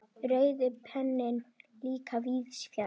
Rauði penninn líka víðs fjarri.